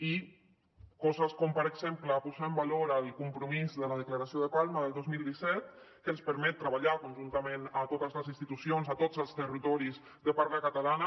i coses com per exemple posar en valor el compromís de la declaració de palma del dos mil set que ens permet treballar conjuntament a totes les institucions a tots els territoris de parla catalana